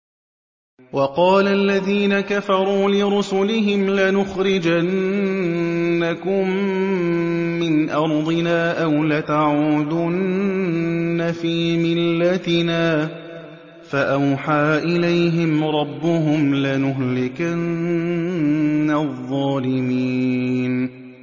وَقَالَ الَّذِينَ كَفَرُوا لِرُسُلِهِمْ لَنُخْرِجَنَّكُم مِّنْ أَرْضِنَا أَوْ لَتَعُودُنَّ فِي مِلَّتِنَا ۖ فَأَوْحَىٰ إِلَيْهِمْ رَبُّهُمْ لَنُهْلِكَنَّ الظَّالِمِينَ